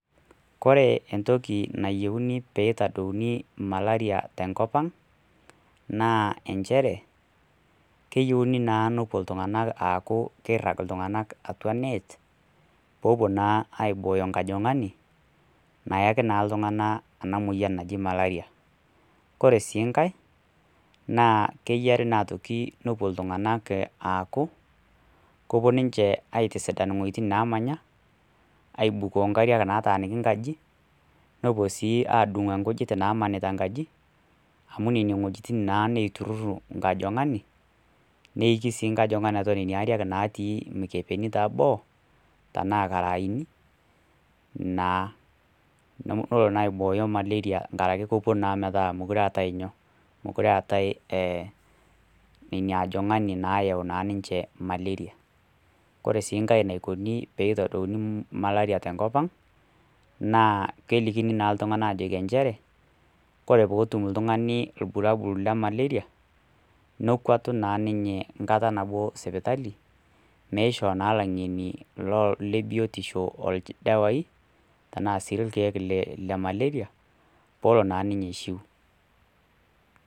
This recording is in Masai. Kore entoki nayiuni peyie eitadouni malaria te enkop aang', naa enchere keyouni naa nepuo iltung'ana aaku keirag atua e nett, pee epuo naa aibooyo enkajang'ani, nayaki naa iltung'ana ena moyian naji Malaria. Kore sii nkai naa, keyaare naa nepuo iltung'ana aaku, kepuo ninche aitisidan iwuetin naamanya, aibukoo nkariak nataaniki nkaji, nepuo sii aadung'oo nkujit nataaniki nkaji, amu nena wuejitin naa naitururu inkajang'ani, neiki ii nkajag'ani atua nena ariak natii atua nena ariak natii imikebeni te boo, tanaa ilkaraaini, naa amu kelo naa aibooyo malaria enkaraki kepuo naa metaa mekure eatai, mekure eatai ina ajong'ani eyau naa ninche malaria. Kore sii nkai eneikuni pee eitadouni malaria te enkop ang', naa kelikini naa iltung'ana ajoki enchere, kore pee etum ltung'ani ilbulabul le malaria, nekwatu naa ninye enkata nabo sipitali, neisho naa ilaing'eni le biotisho oldawai, tanaa sii ilkeek le Malaria, peelo naa ninye aishuu.